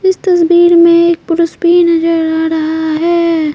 इस तस्वीर में एक पुरुष भी नजर आ रहा है।